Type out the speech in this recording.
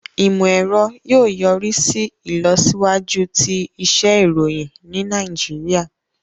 Imọ-ẹrọ yóò yorisi ilọsiwaju ti iṣẹ iroyin ni Nàìjíríà.